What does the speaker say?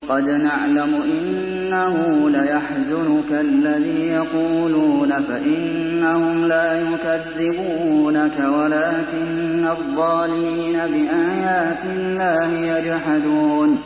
قَدْ نَعْلَمُ إِنَّهُ لَيَحْزُنُكَ الَّذِي يَقُولُونَ ۖ فَإِنَّهُمْ لَا يُكَذِّبُونَكَ وَلَٰكِنَّ الظَّالِمِينَ بِآيَاتِ اللَّهِ يَجْحَدُونَ